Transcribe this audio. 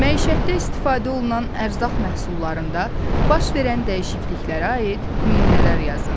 Məişətdə istifadə olunan ərzaq məhsullarında baş verən dəyişikliklərə aid nümunələr yazın.